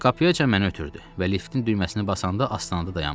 Qapıyacan məni ötürdü və liftin düyməsini basanda astanada dayanmışdı.